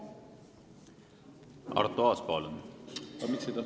Arto Aas, palun!